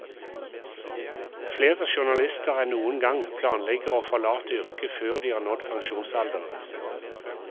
Flere journalister enn noen gang planlegger å forlate yrket før de har nådd pensjonsalderen.